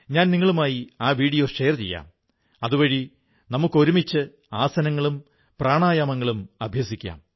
ഞാൻ നിങ്ങളുമായി ആ വീഡിയോ ഷെയർ ചെയ്യാം അതുവഴി നമുക്ക് ഒരുമിച്ച് ആസനങ്ങളും പ്രാണായാമങ്ങളും അഭ്യസിക്കാം